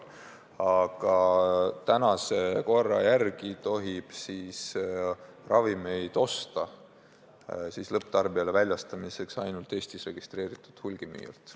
Tänase korra järgi tohib ravimeid lõpptarbijale väljastamiseks osta ainult Eestis registreeritud hulgimüüjalt.